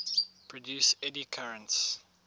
produce eddy currents